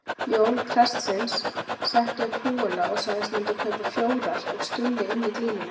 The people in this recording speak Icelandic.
Jón prestsins setti upp húfuna og sagðist myndu kaupa fjórar ef Stulli ynni glímuna.